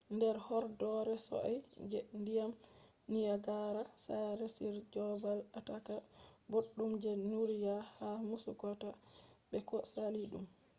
nder horɗoore sosai je ndiyam niyagara sare on je babal ataaka boɗɗum je duniyaru ha muskoka be ko sali ɗum